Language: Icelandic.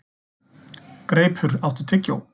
Greipur, áttu tyggjó?